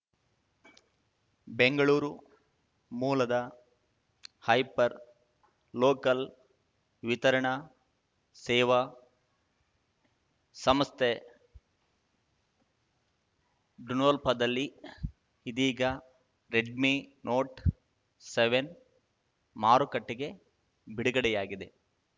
ಬೆಂಗಳೂರು ಮೂಲದ hyper local ವಿತರಣಾ ಸೇವಾ ಸಂಸ್ಥೆ ಡುನೊಲ್ಪದಲ್ಲಿ ಇದೀಗ ರೆಡ್‌ಮೀ ನೋಟ್ ಸೆವೆನ್ ಮಾರುಕಟ್ಟೆಗೆ ಬಿಡುಗಡೆಯಾಗಿದೆ